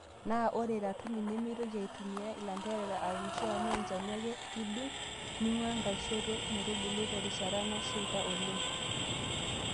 Naa ore ratuni nemeitoki aaitumiya ilanterera aaunisho amuu enchani ake idung' ning'uaa enkaishoto metubulu terishata nasheita oleng.